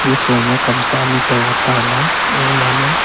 nesoi ma kamsa ani tai tela ganga ma.